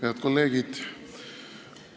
Head kolleegid!